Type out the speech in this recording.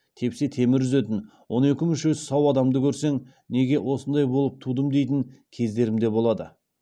тепсе темір үзетін он екі мүшесі сау адамды көрсең неге осындай болып тудым дейтін кездерім болады